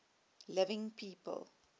living people